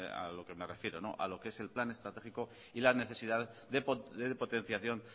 a lo que me refiero a lo que es el plan estratégico y la necesidad de potenciación